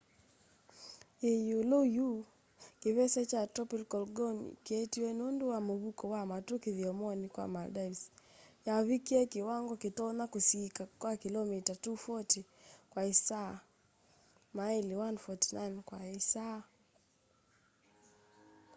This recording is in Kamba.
yi iulu yu kivese kya tropical gonu kyeetiwe nundu wa muvuko wa matu kithyomoni kya maldives yavikie kiwango kitonya kusiika kya kilomita 240 kwa isaa maili 149 kwa isaa